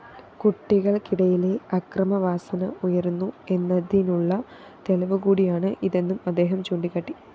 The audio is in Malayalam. കുട്ടികള്‍ക്കിടയിലെ അക്രമവാസന ഉയരുന്നു എന്നതിനുള്ള തെളിവുകൂടിയാണ് ഇതെന്നും അദ്ദേഹം ചൂണ്ടിക്കാട്ടി